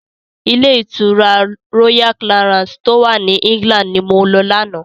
Ilé ìtura Royal Clarance tó wà ní England ni mo lọ lánáà.